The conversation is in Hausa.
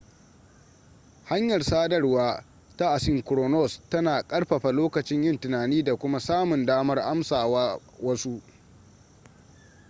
hanyar sadarwar ta asynchronous tana ƙarfafa lokacin yin tunani da kuma samun damar amsa wa wasu